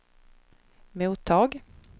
mottag